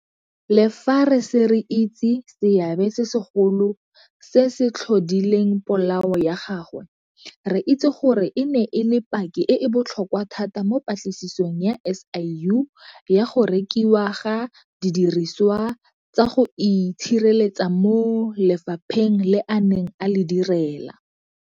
Le fa re ise re itse seabe se segolo se se tlhodileng polao ya gagwe, re itse gore e ne e le paki e e botlhokwa thata mo patlisisong ya SIU ya go rekiwa ga didiriswa tsa go itshireletsa mo lefapheng le a neng a le direla.